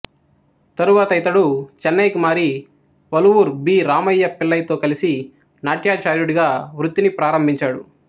తరువాత ఇతడు చెన్నైకి మారి వళువూర్ బి రామయ్య పిళ్ళైతో కలిసి నాట్యాచార్యుడిగా వృత్తిని ప్రారంభించాడు